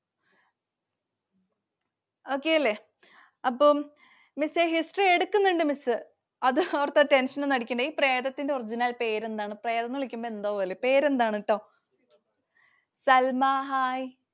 Okay അല്ലെ. അപ്പൊ Miss History എടുക്കുന്നുണ്ട് Miss. അതോർത്തു tension ഒന്നും അടിക്കണ്ടാട്ടൊ. ഈ പ്രേതത്തിൻറെ original പേര് എന്താണ്? പ്രേതം എന്ന് വിളിക്കുമ്പോൾ എന്തോപോലെ. പേരെന്താണുട്ടോ? Salma Hi.